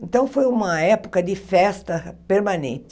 Então, foi uma época de festa permanente.